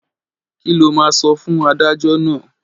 Kí lo máa sọ fún adájọ́ náà?